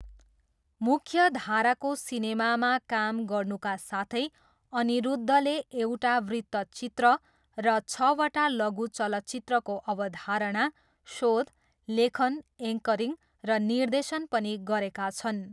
मुख्यधाराको सिनेमामा काम गर्नुका साथै अनिरुद्धले एउटा वृत्तचित्र र छवटा लघु चलचित्रको अवधारणा, शोध, लेखन, एङ्करिङ र निर्देशन पनि गरेका छन्।